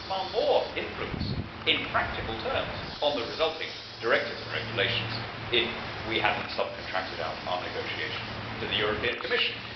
We would have far more influence in practical terms on the resulting directives and regulations if we had not subcontracted out our negotiation to the European Commission.